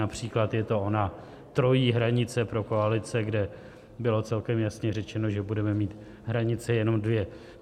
Například je to ona trojí hranice pro koalice, kde bylo celkem jasně řečeno, že budeme mít hranice jenom dvě.